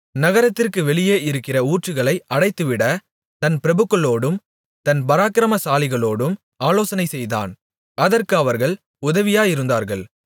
நகரத்திற்கு வெளியே இருக்கிற ஊற்றுகளை அடைத்துவிட தன் பிரபுக்களோடும் தன் பராக்கிரமசாலிகளோடும் ஆலோசனைசெய்தான் அதற்கு அவர்கள் உதவியாயிருந்தார்கள்